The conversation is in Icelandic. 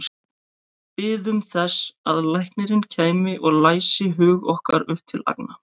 Biðum þess að læknirinn kæmi og læsi hug okkar upp til agna.